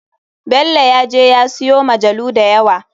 Belo ya je ya siyo majalu dayawa.